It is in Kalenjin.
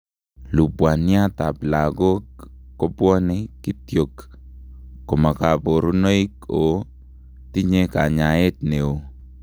Lubwaniat ab lagok kobwone kitiok koma kaborunoik oo tinye kanyaeet neoo